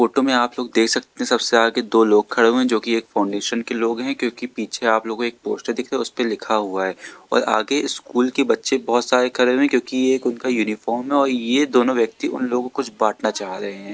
Photo में आप लोग देख सकते हैं सबसे आगे दो लोग खड़े हुए हैं जो की एक फाउंडेशन के लोग हैं क्योंकि पीछे आप लोग को एक पोस्टर दिख रहा है उसे पर लिखा हुआ है और आगे स्कूल के बच्चे बहोत सारे खड़े हैं क्योंकि ये एक उनका यूनिफॉर्म है और ये दोनों व्यक्ति उन लोगों को कुछ बांटना चाह रहे हैं।